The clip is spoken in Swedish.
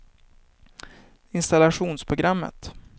installationsprogrammet